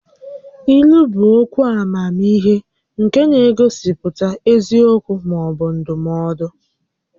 Ílú bụ okwu amamihe nke na-egosipụta eziokwu maọbụ ndụmọdụ